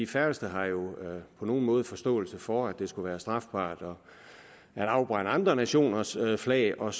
færreste har jo på nogen måde forståelse for at det skulle være strafbart at afbrænde andre nationers flag og